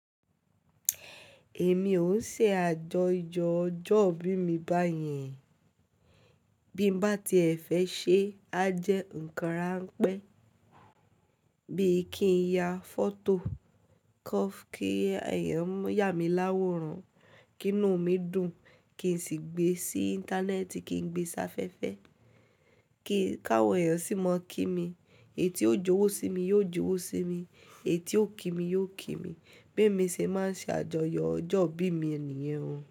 Èmi ò ń ṣe àjọyọ̀ ọjọ́ ìbí mi báyìí. Bí m bá tiẹ̀ fẹ́ ṣe, a jẹ́ nǹkan rán pẹ́. Bí i kí n ya fọ́tò cof kí èèyàn yà mí láwòrán, kí inú mi dùn, kí n sì gbe sí Íńtánẹ́ẹ̀tì, kí n gbe sáfẹ́fẹ́, kí káwọn èèyàn sì máa kí mi. Èyí tí yóò jowó sí mi yóò jowó sí mi, èyí tí ó kí mi yóò kí mi. Bí emi ṣe máa ṣe àjọyọ̀ ọjọ́ ìbí mi nìyẹn o.